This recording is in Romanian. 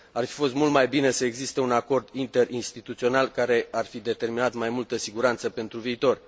Ar fi fost mult mai bine să existe un acord interinstituțional, care ar fi determinat mai multă siguranță pentru viitor.